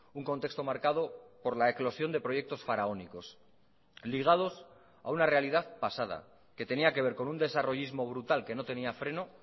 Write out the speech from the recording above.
un contexto marcado por la eclosión de proyectos faraónicos ligados a una realidad pasada que tenía que ver con un desarrollismo brutal que no tenía freno